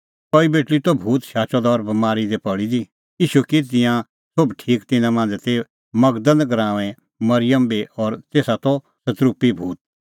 कई बेटल़ी त भूत शाचअ द और बमारी दी पल़ी दी ईशू की तिंयां सोभ ठीक तिन्नां मांझ़ै ती मगदल़ गराऊंए मरिअम बी और तेसा दी त सतरूपी भूत